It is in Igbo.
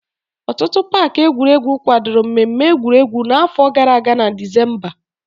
Ọtụtụ paaki egwuregu kwadoro mmemme egwuregwu n'afọ gara aga na Dizemba.